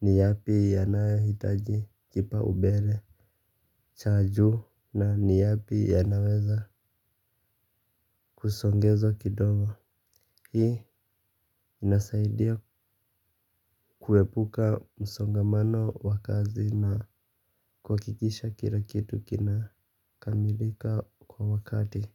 ni yapi yanayohitaji kipaumbele. Chanjo na ni yapi yanaweza kusongezwa kidogo. Hii inasaidia kuepuka msongomano wa kazi na kuhakikisha kila kitu kina kamilika kwa wakati.